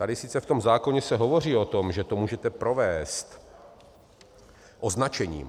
Tady sice v tom zákoně se hovoří o tom, že to můžete provést označením.